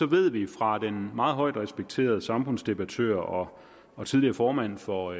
ved vi fra den meget højt respekterede samfundsdebattør og og tidligere formand for